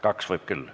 Kaks võib küll.